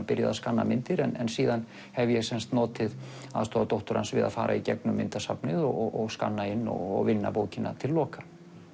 byrjað að skanna myndir en síðan hef ég notið aðstoðar dóttur hans við að fara í gegnum myndasafnið og skanna inn og vinna bókina til loka